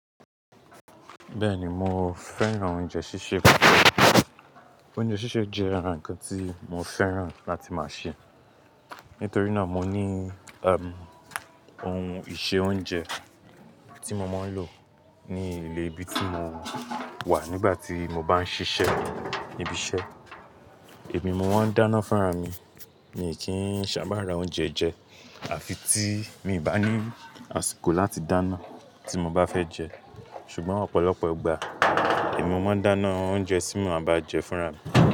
Bẹ́ẹ̀ni mo fẹ́ràn oúnjẹ sísè. Oúnjẹ sísè jẹ́ àràn kan tí mo fẹ́ràn láti máa sè. Nítorí náà mo ní, um, ohun ìse oúnjẹ tí mo máa ń lò ní ilé ibi tí mo wà nígbà tí mo bá ń ṣiṣẹ́ ibi iṣẹ́. Èmi mo máa ń dáná fúnra mi mi kì í sábà ra oúnjẹ jẹ àfi tí mi ò bá ní àsìkò láti dáná tí mo bá fẹ́ jẹ. Ṣùgbọ́n ọ̀pọ̀lọpọ̀ ìgbà èmi mo máa ń dáná oúnjẹ tí mo máa bá jẹ fúnra mi.